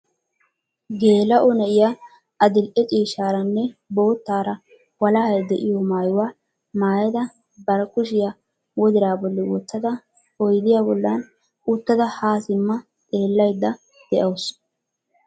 Gela''o na'iya adl''e ciishshaaranne boottaara walahay de'iyo maayuwa maayada bari kushiya wodiraa bolli wottada oydiya bollan uttada ha simma xeellaydda dawusu.